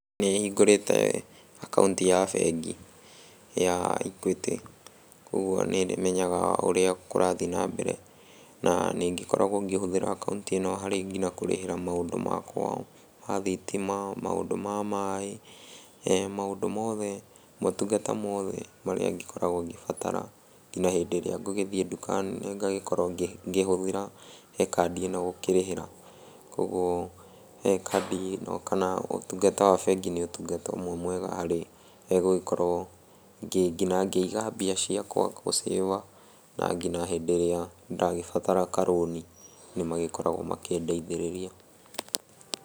Nĩhingũrĩte akaunti ya bengi ya Equity, kuoguo niĩ nĩmenyaga ũrĩa kũrathiĩ na mbere. Na nĩngĩkoragwo ngĩhũthĩra akaunti ĩno harĩ nginya kũrĩhĩra maũndũ makwa ma thitima, maũndũ ma maĩ, maũndũ mothe motungata mothe marĩa ngĩkoragwo ngĩbatara kinya hĩndĩ ĩrĩa ngũgĩthiĩ nduka nene ngagĩkorwo ngĩhũthĩra he kandi ĩno gũkĩrĩhĩra. Kuoguo kandi ĩno kana ũtungata wa bengi nĩ ũtungata ũme mwega harĩ gũgĩkorwo nginya ngĩiga mbia ciakwa gũcĩba na nginya hĩndĩ ĩrĩa ndagĩbatara karũni nĩmagĩkoragwo makĩndeithĩrĩria